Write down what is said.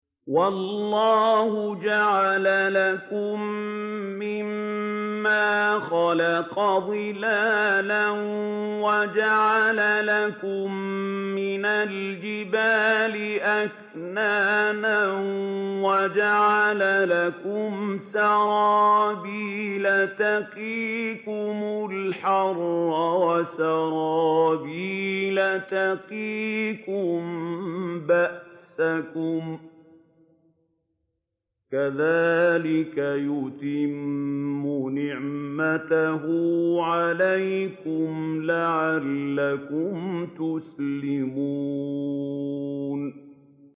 وَاللَّهُ جَعَلَ لَكُم مِّمَّا خَلَقَ ظِلَالًا وَجَعَلَ لَكُم مِّنَ الْجِبَالِ أَكْنَانًا وَجَعَلَ لَكُمْ سَرَابِيلَ تَقِيكُمُ الْحَرَّ وَسَرَابِيلَ تَقِيكُم بَأْسَكُمْ ۚ كَذَٰلِكَ يُتِمُّ نِعْمَتَهُ عَلَيْكُمْ لَعَلَّكُمْ تُسْلِمُونَ